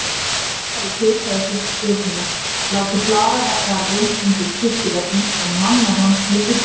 Pétur hafði tekið að sér stjórnina: látið hlaða garðinn undir kirkjuveggnum og mannað hann byssum.